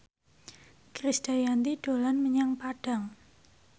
Krisdayanti dolan menyang Padang